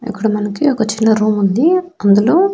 ఇక్కడ మనకి ఒక చిన్న రూమ్ ఉంది అందులో--